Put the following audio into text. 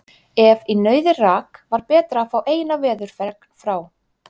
Ef í nauðir rak, var betra að fá eina veðurfregn frá